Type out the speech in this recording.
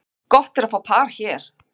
Gott er að fá par hér.